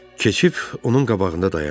Keçib onun qabağında dayandı.